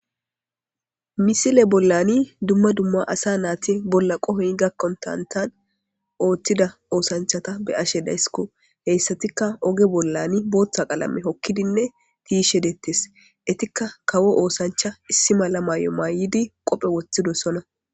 Missile bollan dumma dumma asa nati bolla qohoy gakkonttadan oththida oththanchata be'ashe dayssiko hessatika ogge bollan booththa qallame hookidinne tiyishshe dettes ettika kawo osanchcha issi mala mayo mayidi qoppe woththidossona.